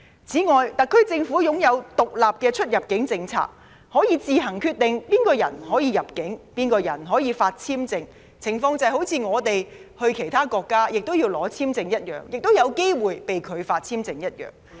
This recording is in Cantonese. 此外，特區政府實施獨立的出入境政策，可以自行決定誰人可入境，誰人可獲發簽證，情況就像我們到其他國家要申請簽證，亦有機會被拒發簽證一樣。